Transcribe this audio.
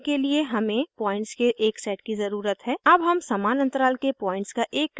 plot करने के लिए हमें पॉइंट्स के एक सेट की ज़रूरत है अब हम समान अन्तराल के पॉइंट्स का एक क्रम बनाते हैं